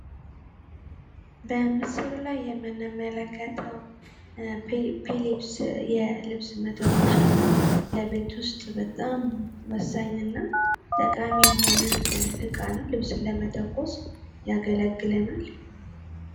በምስሉ ላይ የምንመለከተው ፔሌፒስ የልብስ መተኮሻ ለቤት ውስጥ በጣም ወሳኝና ጠቃሚ ሆነ ዕቃ ነው። ልብስን ለመተኮስ ያገለግለናል።